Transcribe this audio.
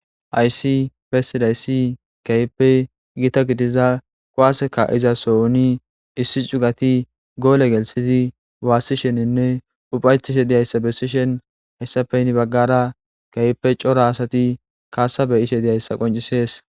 Aysi bessidaysi kayppe gita gidiza quwaaaseka izasouni issi cugati goole gelsizi waassisheninne uphaytishe diyayssa besishen hayssapeyni baggara geype cora asati kaasabe ishe diyayssa qoncisees.